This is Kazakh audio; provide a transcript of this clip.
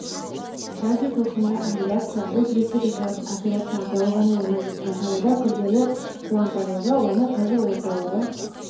радиотолқынды абляция бұл жүрекке жасалатын операция атауы ғана емес жасалуы да күрделі қуантарлығы оны қазір орталықтағы